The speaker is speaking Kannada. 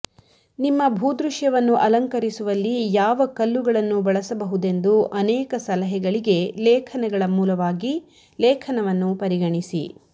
ನಿಮ್ಮ ಭೂದೃಶ್ಯವನ್ನು ಅಲಂಕರಿಸುವಲ್ಲಿ ಯಾವ ಕಲ್ಲುಗಳನ್ನು ಬಳಸಬಹುದೆಂದು ಅನೇಕ ಸಲಹೆಗಳಿಗೆ ಲೇಖನಗಳ ಮೂಲವಾಗಿ ಲೇಖನವನ್ನು ಪರಿಗಣಿಸಿ